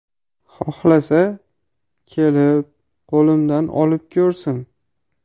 Xohlasa, kelib, qo‘limdan olib ko‘rsin.